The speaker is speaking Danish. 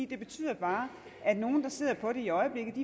det betyder bare at nogle der sidder på det i øjeblikket